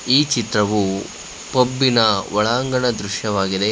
ಈ ಚಿತ್ರವು ಪಬ್ಬಿನ ಒಳಾಂಗಣ ದೃಶ್ಯವಾಗಿದೆ.